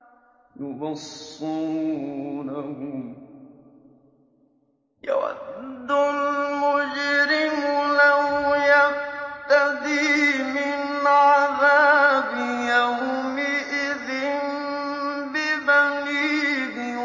يُبَصَّرُونَهُمْ ۚ يَوَدُّ الْمُجْرِمُ لَوْ يَفْتَدِي مِنْ عَذَابِ يَوْمِئِذٍ بِبَنِيهِ